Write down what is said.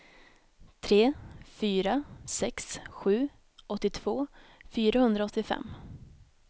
tre fyra sex sju åttiotvå fyrahundraåttiofem